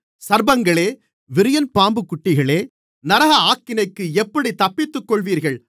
சர்ப்பங்களே விரியன்பாம்பு குட்டிகளே நரக ஆக்கினைக்கு எப்படித் தப்பித்துக்கொள்ளுவீர்கள்